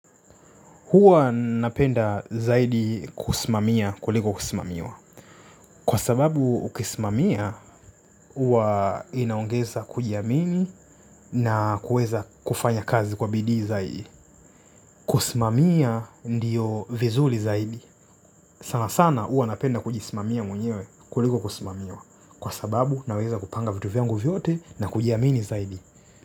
Huwa napenda zaidi kusimamia kuliko kusimamiwa. Kwa sababu ukisimamia, huwa inaongeza kujiamini na kuweza kufanya kazi kwa bidii zaidi. Kusimamia ndiyo vizuri zaidi. Sana sana huwa napenda kujisimamia mwenyewe kuliko kusimamiwa. Kwa sababu naweza kupanga vitu vyangu vyote na kujiamini zaidi.